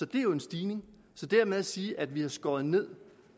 det er jo en stigning så det med at sige at vi har skåret ned